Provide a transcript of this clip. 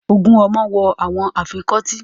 Twenty cildren are wearing the earrings